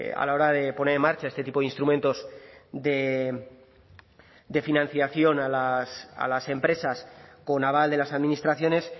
a la hora de poner en marcha este tipo de instrumentos de financiación a las empresas con aval de las administraciones